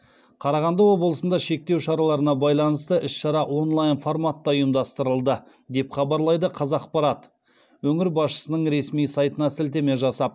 қарағанды облысында шектеу шараларына байланысты іс шара онлайн форматта ұйымдастырылды деп хабарлайды қазақпарат өңір басшысының ресми сайтына сілтеме жасап